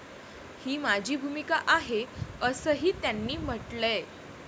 ही माझी भूमिका आहे, असंही त्यांनी म्हटलंय.